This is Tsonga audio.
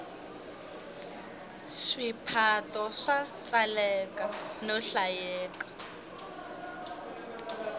swiphato swa tsaleka no hlayeka